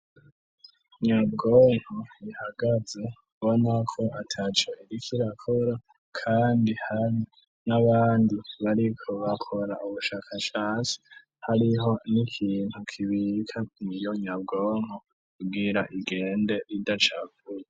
Nyabwonko ihagaze bo nako ataco igikirakora, kandi hano n'abandi bariko bakora ubushakashasi hariho n'ikintu kibika miyonyabwonko kubwira igende ridacavuye.